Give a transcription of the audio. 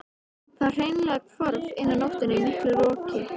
Það hreinlega hvarf eina nóttina í miklu roki.